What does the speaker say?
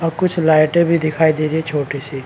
और कुछ लाइटे भी दिखाई दे रही है छोटी सी।